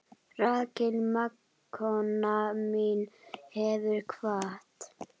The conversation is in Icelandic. Rakel mágkona mín hefur kvatt.